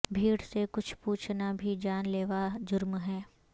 بھیڑ سے کچھ پوچھنا بھی جان لیوا جرم ہے